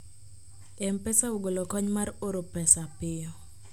mpesa ogolo kony mar oro pesa piyo